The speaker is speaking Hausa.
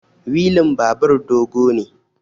wilin babur dogo ne